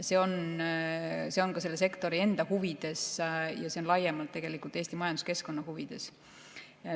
See on ka selle sektori enda huvides ja laiemalt Eesti majanduskeskkonna huvides.